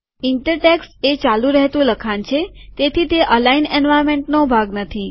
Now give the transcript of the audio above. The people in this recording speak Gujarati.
ઇન્ટર ટેક્સ્ટ એ ચાલુ રેહતું લખાણ છે તેથી તે અલાઈન એન્વાર્નમેન્ટનો ભાગ નથી